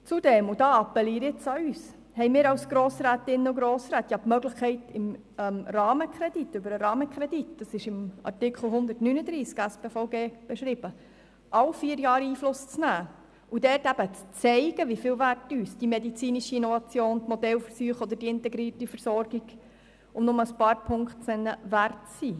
Zudem – und hier appelliere ich an uns – haben wir als Grossrätinnen und Grossräte die Möglichkeit, über den Rahmenkredit, der im Artikel 139 SpVG geregelt ist, alle vier Jahre Einfluss zu nehmen und zu zeigen, wie viel uns die medizinische Innovation, die Modellversuche oder die integrierte Versorgung, um nur ein paar Punkte zu nennen, wert sind.